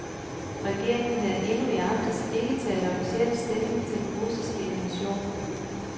Regeringen havde endnu i aftes ikke taget officiel stilling til den russiske invitation.